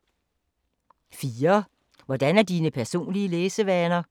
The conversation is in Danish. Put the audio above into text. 4) Hvordan er dine personlige læsevaner?